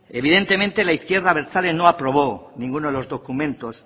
evidentemente la izquierda abertzale no aprobó ninguno de los documentos